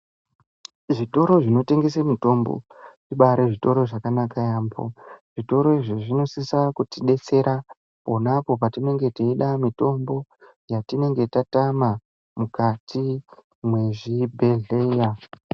Zvitoro zvinotengesa mitombo zvibari zvitoro zvakanaka yambo, zvitoro izvi zvinosisa kutidetsera ponapo patinenge teyida mitombo yatinenge tatama mukati mezvibhedhleya,